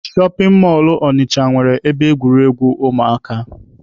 Shọpin mọlụ Ọnịcha nwere ebe egwuregwu ụmụaka.